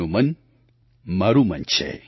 તેમનું મન મારું મન છે